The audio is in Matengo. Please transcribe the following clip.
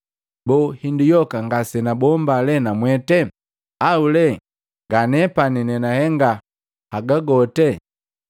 Boo, hindu yoka ngase nabombaa lee namwete? Au lee nganepani nenahenga haga gote?’ ”